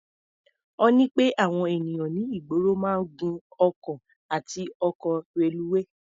Ó ní pé àwọn ènìyàn ní ìgboro máa ń gun ọkọ̀ àti ọkọ̀ reluwé.